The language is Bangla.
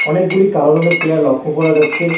অনেকগুলি কালো রঙের চেয়ার লক্ষ করা যাচ্ছে।